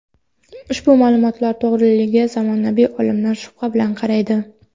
Ushbu ma’lumotlar to‘g‘riligiga zamonaviy olimlar shubha bilan qaraydi.